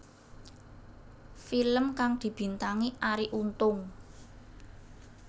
Film kang dibintangi Arie Untung